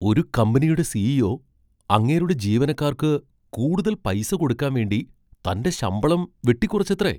ഒരു കമ്പനിയുടെ സി.ഇ.ഒ. അങ്ങേരുടെ ജീവനക്കാർക്ക് കൂടുതൽ പൈസ കൊടുക്കാൻ വേണ്ടി തന്റെ ശമ്പളം വെട്ടിക്കുറച്ചത്രേ!